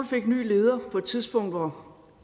fik en ny leder på et tidspunkt hvor